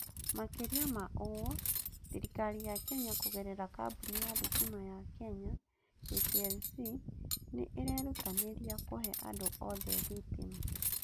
Makĩria ma ũguo, thirikari ya Kenya kũgerera kambuni ya thitima ya Kenya (KPLC) nĩ ĩrerutanĩria kũhe andũ othe thitima.